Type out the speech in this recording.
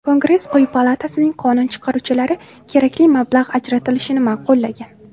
Kongress quyi palatasining qonun chiqaruvchilari kerakli mablag‘ ajratilishini ma’qullagan.